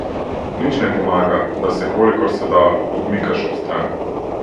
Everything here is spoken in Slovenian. Nič ne pomaga, da se, kolikor se da, odmikaš ob stran.